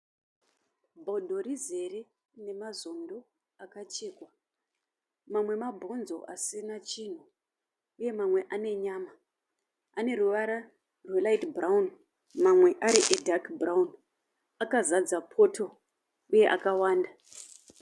Bhodho rizere nemazondo akachekwa. Mamwe mabhonzo asina chinhu uye mamwe ane nyama. Aneruvara rwe raiti bhurawuni mamwe ari edhaki bhurawuni. Akazadza photo uye akawanda .